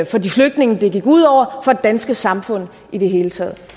for de flygtninge det gik ud over og for det danske samfund i det hele taget